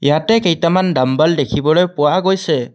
ইয়াতে কেইটামান ডামবেল দেখিবলৈ পোৱা গৈছে।